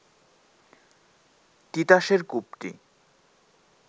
তিতাসের কূপটি